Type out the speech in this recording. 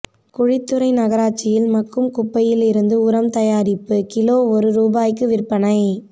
குழித்துறை நகராட்சியில் மட்கும் குப்பையில் இருந்து உரம் தயாரிப்பு கிலோ ஒரு ரூபாய்க்கு விற்பனை